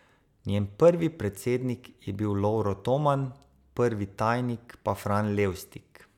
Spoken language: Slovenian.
Njen prvi predsednik je bil Lovro Toman, prvi tajnik pa Fran Levstik.